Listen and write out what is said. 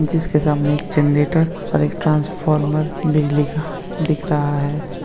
जिसके सामने एक जनरेटर और एक ट्रांसफार्मर बिजली का दिख रहा है।